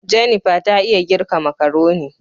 " Jennifer " ta iya girka makaroni.